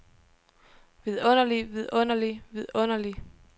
vidunderlig vidunderlig vidunderlig